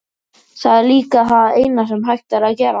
Það er líka það eina sem hægt er að gera.